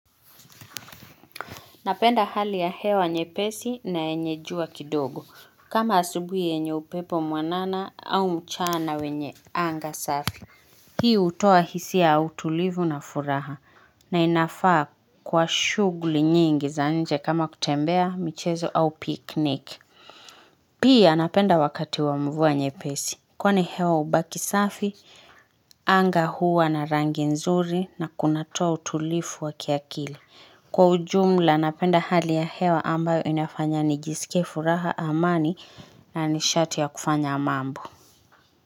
Napenda hali ya hewa nye pesi na enye jua kidogo kama asubuye enye upepo mwanana au mchana wenye anga safi Hii utoa hisi ya utulivu na furaha na inafaa kwa shugli nyingi za nje kama kutembea michezo au piknik Pii anapenda wakati wamuvua nye pesi kwane hewa ubaki safi, anga huwa na rangi nzuri na kunatoa utulifu wa kiakili Kwa ujumla napenda hali ya hewa ambayo inafanya nigisike furaha amani nanishati ya kufanya mambo.